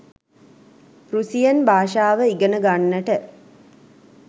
Russian භාෂාව ඉගෙන ගන්නට